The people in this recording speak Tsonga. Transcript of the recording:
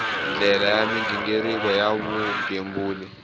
ndlela ya mighiniriko ya vugembuli